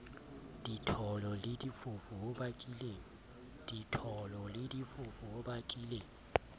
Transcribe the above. ditholo le difofu ho bakileng